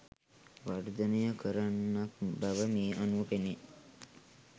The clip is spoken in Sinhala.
වර්ධනය කරන්නක් බව මේ අනුව පෙනේ.